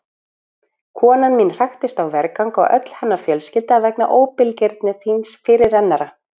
Konan mín hraktist á vergang og öll hennar fjölskylda vegna óbilgirni þíns fyrirrennara.